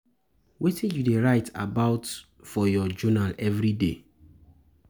Wetin you dey write about for your journal every day?